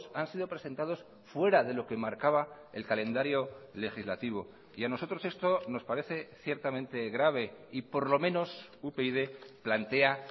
han sido presentados fuera de lo que marcaba el calendario legislativo y a nosotros esto nos parece ciertamente grave y por lo menos upyd plantea